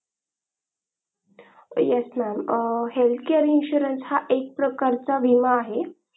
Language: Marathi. yes mam, health care insurance हा एक प्रकारचा विमा आहे.